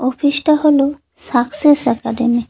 Office -টা হল success academy.